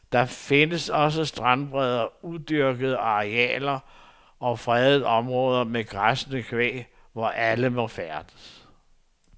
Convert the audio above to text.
Der findes også strandbredder, udyrkede arealer og fredede områder med græssende kvæg, hvor alle må færdes.